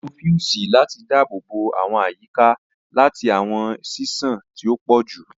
A lo fiusi lati daabobo awọn iyika lati awọn ṣiṣan ti o pọ ju